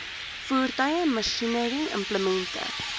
voertuie masjinerie implemente